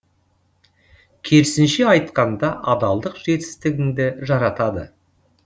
керісінше айтқанда адалдық жетістігіңді жаратады